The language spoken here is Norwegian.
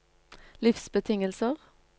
livsbetingelser